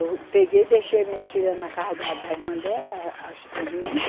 Eu peguei e deixei as minhas filhas na casa da, da irmã dela, as duas meninas.